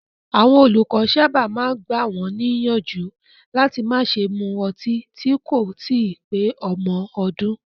Àwọn olùkọ́ sábà máa ń gbà wọ́n níyànjú láti má ṣe mu ọtí tí kò tíì pé ọmọ ọdún.